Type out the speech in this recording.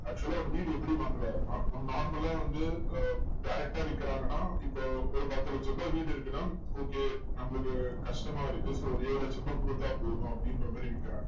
actual ஆ ஒரு வீடு எப்படி வாங்குகிறாருன்னா, நம்ம normal ஆ வந்து ஹம் direct ஆ விக்கிறாங்கன்னா, இப்போ ஒரு பத்து லட்ச ரூபா வீடு இருக்குன்னா, okay நம்மளுக்கு கஷ்டமா இருக்கு. so ஒரு ஏழு லட்ச ரூபாய் கொடுத்தா போதும், அப்படின்ற மாதிரி விக்கிறாங்க.